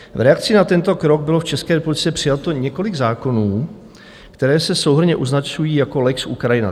V reakci na tento krok bylo v České republice přijato několik zákonů, které se souhrnně označují jako lex Ukrajina.